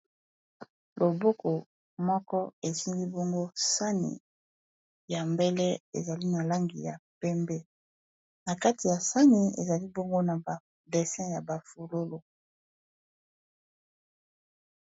Loboko moko esingi bongo sani ya mbele ezali na langi ya pembe na kati ya sani ezali bongo na ba dessin ya bafololo.